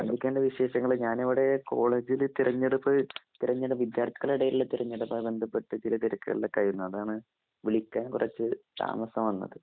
എന്തൊക്കെ ഉണ്ട് വിശേഷങ്ങള് ഞാൻ ഇവിടെ കോളേജിൽ തിരഞ്ഞെടുപ്പ് തിര ഞ്ഞെടു വിദ്യാർഥികളുടെ ഇടയിലെ തിരഞ്ഞെടുപ്പ് ബന്ധപ്പെട്ട് ചില തിരക്കുകളിൽ ഒക്കെ ആയിരുന്നു അതാണ് വിളിക്കാൻ കുറച്ച് താമസം വന്നത്.